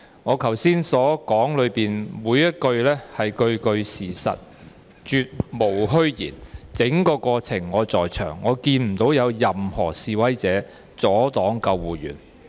我剛才發言的每一句話都是事實，絕無虛言，整個過程我也在場，我看不到有任何示威者阻礙救護員。